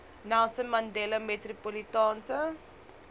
nelson mandela metropolitaanse